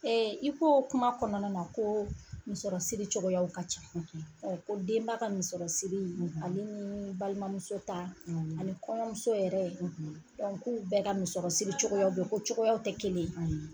i koo kuma kɔnɔna na koo misɔrɔsiri cogoyaw ka can ko denba ka misɔrɔsiri ale nii balimamuso ta ani kɔɲɔmuso yɛrɛ k'u bɛɛ ka misɔrɔsiri cogoyaw be ye ko cogoyaw tɛ kelen ye .